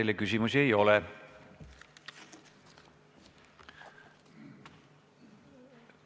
Teile küsimusi ei ole.